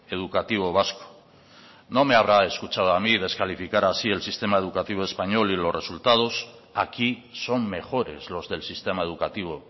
educativo vasco no me habrá escuchado a mí descalificar así el sistema educativo español y los resultados aquí son mejores los del sistema educativo